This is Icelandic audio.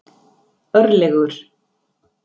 Örlygur